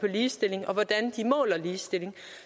ligestilling og hvordan de måler ligestilling